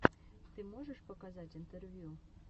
ты можешь показать интервью